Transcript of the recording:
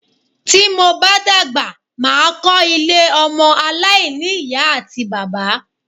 Tí mo bá dàgbà, mà á kọ́ ilé ọmọ aláìní-Ìyá àti bàbá.